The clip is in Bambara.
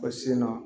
Ka sin na